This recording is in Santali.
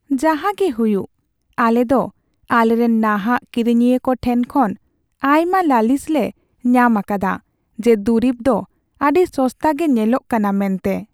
ᱡᱟᱦᱟᱜᱮ ᱦᱩᱭᱩᱜ, ᱟᱞᱮ ᱫᱚ ᱟᱞᱮᱨᱮᱱ ᱱᱟᱦᱟᱜ ᱠᱤᱨᱤᱧᱤᱭᱟᱹ ᱠᱚ ᱴᱷᱮᱱ ᱠᱷᱚᱱ ᱟᱭᱢᱟ ᱞᱟᱹᱞᱤᱥᱞᱮ ᱧᱟᱢ ᱟᱠᱟᱫᱟ ᱡᱮ ᱫᱩᱨᱤᱵ ᱫᱚ ᱟᱹᱰᱤ ᱥᱚᱥᱛᱟ ᱜᱮ ᱧᱮᱞᱚᱜ ᱠᱟᱱᱟ ᱢᱮᱱᱛᱮ ᱾